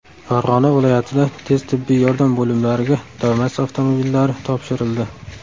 Farg‘ona viloyatida tez tibbiy yordam bo‘limlariga Damas avtomobillari topshirildi.